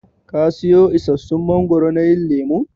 Ka siyo isassun mangoro na yin lemun?